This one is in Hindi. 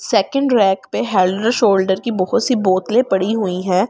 सेकंड रेक पे हेंड एण्ड शोल्डर की बहुत सी बोतलें पड़ी हुई हैं।